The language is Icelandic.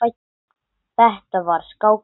Þetta var skák og mát.